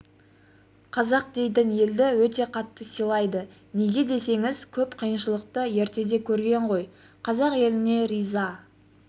қазақ дейтін елді өте қатты сыйлайды неге десеңіз көп қиыншылықты ертеде көрген ғой қазақ еліне риза